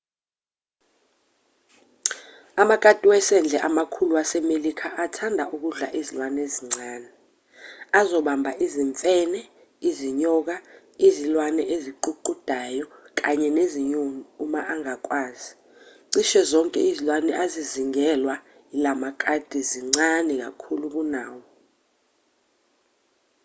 amakati wasendle amakhulu wasemelika athanda ukudla izilwane ezincane azobamba izimfene izinyoka izilwane eziququdayo kanye nezinyoni uma angakwazi cishe zonke izilwane ezizingelwa yilawa makati zincane kakhulu kunawo